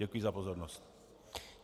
Děkuji za pozornost.